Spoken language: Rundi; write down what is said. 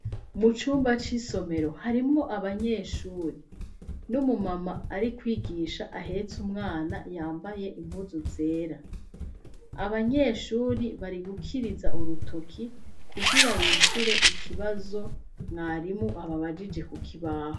Mucumba c'isomero harimwo abanyeshuri nomumama ari kwigisha ahetse umwana yambaye impuzu zera abanyeshuri bari gukiriza urutoki kugira bishure ikibazo mwarimu ababajije ku kibaho.